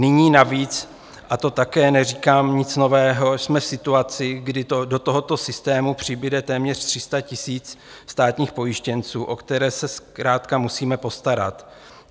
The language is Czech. Nyní navíc, a to také neříkám nic nového, jsme v situaci, kdy do tohoto systému přibude téměř 300 000 státních pojištěnců, o které se zkrátka musíme postarat.